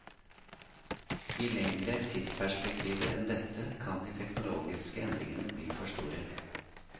I lengre tidsperspektiver enn dette kan de teknologiske endringene bli for store.